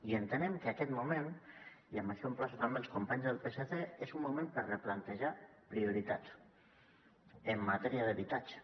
i entenem que aquest moment i en això emplaço també els companys del psc és un moment per replantejar prioritats en matèria d’habitatge